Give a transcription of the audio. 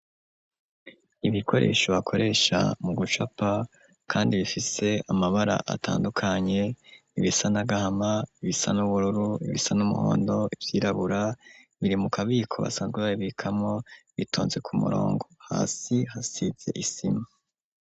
Ibikoresho bakoresha mu gucapa kandi bifise amabara atandukanye, ibisa n'agahama, ibisa n'ubururu, ibisa n'umuhondo, ivyirabura, biri mukabiko basanzwe babikamwo bitonze ku murongo, hasi hasize isima.